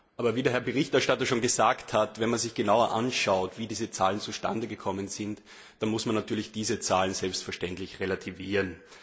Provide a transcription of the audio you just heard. Aber wie der Herr Berichterstatter schon gesagt hat Wenn man sich genauer anschaut, wie diese Zahlen zustande gekommen sind, dann muss man diese Zahlen selbstverständlich relativieren.